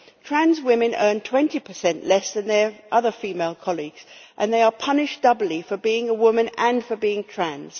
work. Trans women earn 20 less than their other female colleagues and they are punished doubly for being a woman and for being trans.